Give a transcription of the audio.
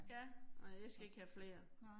Ja, nåh jeg skal ikke have flere